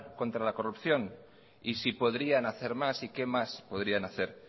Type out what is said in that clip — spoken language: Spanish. contra la corrupción y si podrían hacer más y qué más podrían hacer